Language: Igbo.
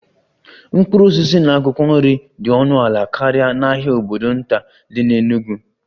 Mkpụrụ osisi na akwụkwọ nri dị ọnụ ala karịa n'ahịa obodo nta dị n'Enugwu